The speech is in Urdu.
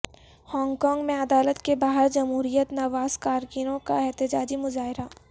ہانگ کانگ میں عدالت کے باہر جمہوریت نواز کارکنوں کا احتجاجی مظاہرہ